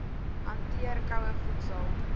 hanteer koue voedsel